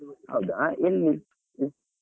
ಹೌದಾ ಎಲ್ಲಿ ?